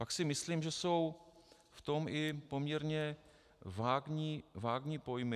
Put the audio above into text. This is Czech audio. Pak si myslím, že jsou v tom i poměrně vágní pojmy.